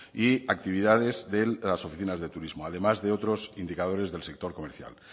y actividades de las oficinas de turismo además de otros indicadores del sector comercial